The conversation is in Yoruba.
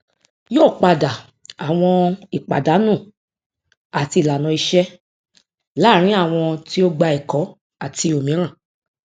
yóò padà àwọn ìpàdánù àti ìlànà iṣẹ láàrin àwọn tí ó gbà ẹkọ àti òmíràn